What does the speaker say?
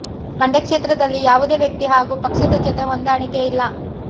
ಮಂಡ್ಯ ಕ್ಷೇತ್ರದಲ್ಲಿ ಯಾವುದೇ ವ್ಯಕ್ತಿ ಹಾಗೂ ಪಕ್ಷದ ಜೊತೆ ಹೊಂದಾಣಿಕೆ ಇಲ್ಲ